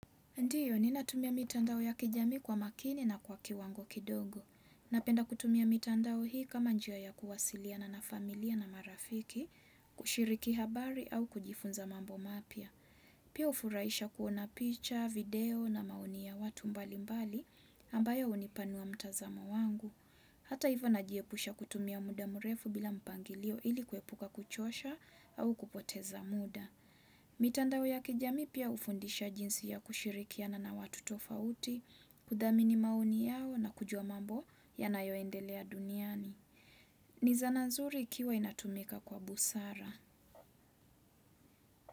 Ndiyo, ninatumia mitandao ya kijamii kwa makini na kwa kiwango kidogo. Napenda kutumia mitandao hii kama njia ya kuwasiliana na familia na marafiki, kushiriki habari au kujifunza mambo mapya. Pia hufuraisha kuona picha, video na maoni ta watu mbalimbali ambayo hunipanua mtazamo wangu. Hata hivo najiepusha kutumia muda mrefu bila mpangilio ili kuepuka kuchosha au kupoteza muda. Mitandao ya kijamii pia hufundisha jinsi ya kushirikiana na watu tofauti, kuthamini maoni yao na kujua mambo yanayoendelea duniani. Ni zana nzuri ikiwa inatumika kwa busara.